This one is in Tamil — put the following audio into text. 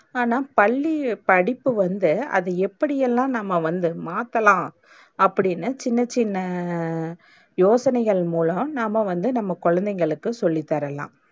ஆனா, பள்ளி படிப்ப வந்து அது எப்டியெல்லாம் நம்ம வந்து மாத்தலாம், அப்டின்னு சின்ன சின்ன யோசனைகள் மூலம் நாம்ம வந்து நம்ம கொழந்தைகளுக்கு சொல்லி தரலாம்.